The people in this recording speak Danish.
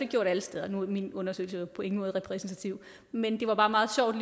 gjort alle steder nu er min undersøgelse jo på ingen måde repræsentativ men det var bare meget sjovt